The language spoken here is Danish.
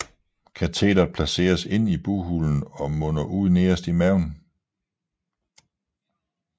Kateteret placeres inde i bughulen og munder ud nederst på maven